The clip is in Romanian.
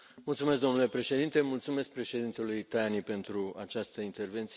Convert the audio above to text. Domnule Președinte, mulțumesc președintelui Tajani pentru această intervenție.